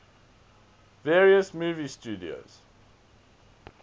various movie studios